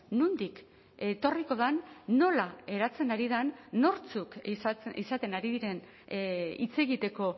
nondik etorriko den nola eratzen ari den nortzuk izaten ari diren hitz egiteko